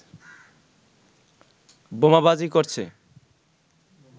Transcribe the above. বোমাবাজি করছে